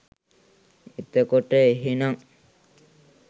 එතකොට එහෙනං